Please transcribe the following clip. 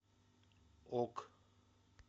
ок